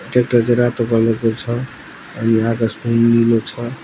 Tractor चाहिँ रातो colour को छ अनि आकाश पनि नीलो छ।